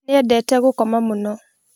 Nĩendete gũkoma mũno